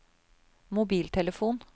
mobiltelefon